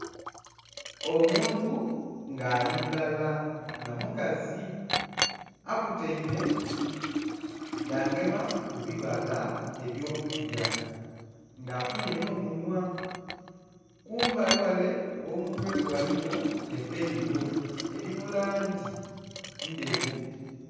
Omuntu nga ali mulala nga mukazi akutaime yagema ku bibala ebyo kulya nga afunhye nho munhwa kumbali ghale gho mutwe gwe ghaligho epeiro eri mu langi endheru.